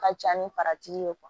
Ka ca ni ye